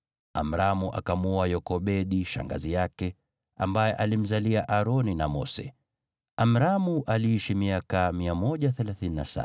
Amramu akamwoa Yokebedi, shangazi yake, ambaye alimzalia Aroni na Mose. Amramu aliishi miaka 137.